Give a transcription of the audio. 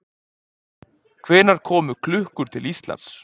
Hvenær komu klukkur til Íslands?